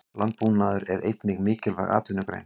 Landbúnaður er einnig mikilvæg atvinnugrein.